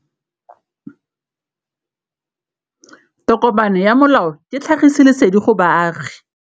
Tokomane ya molao ke tlhagisi lesedi go baagi.